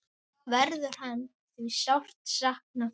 Verður hans því sárt saknað.